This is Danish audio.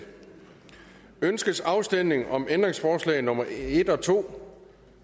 ønskes afstemning om ændringsforslag nummer en og to